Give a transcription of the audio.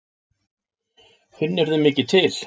Finnurðu mikið til?